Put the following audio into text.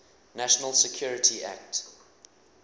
national security act